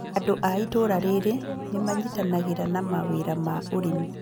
Andũ a itũra rĩrĩ nĩ manyitanagĩra na mawĩra ma ũrĩmi